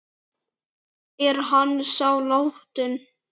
Er hann þá látinn?